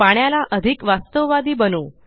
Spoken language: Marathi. पाण्याला अधिक वास्तववादी बनऊ